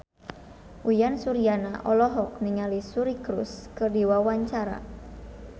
Uyan Suryana olohok ningali Suri Cruise keur diwawancara